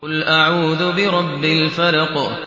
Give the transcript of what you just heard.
قُلْ أَعُوذُ بِرَبِّ الْفَلَقِ